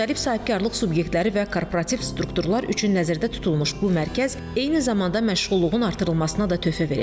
Müxtəlif sahibkarlıq subyektləri və korporativ strukturlar üçün nəzərdə tutulmuş bu mərkəz eyni zamanda məşğulluğun artırılmasına da töhfə verəcək.